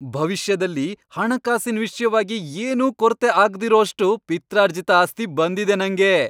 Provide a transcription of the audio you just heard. ಭವಿಷ್ಯದಲ್ಲಿ ಹಣಕಾಸಿನ್ ವಿಷ್ಯವಾಗಿ ಏನೂ ಕೊರತೆ ಆಗ್ದಿರೋಷ್ಟು ಪಿತ್ರಾರ್ಜಿತ ಆಸ್ತಿ ಬಂದಿದೆ ನಂಗೆ.